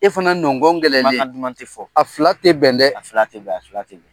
E fana nɔngɔn gɛlɛnlen . Kumakan duman ti fɔ . A fila ti bɛn dɛ ! A fila ti bɛn ,a fila ti bɛn.